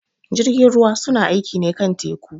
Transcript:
Jirgin ruwa su na aiƙi ne kan teku.